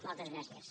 moltes gràcies